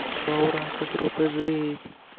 ура ура как круто жить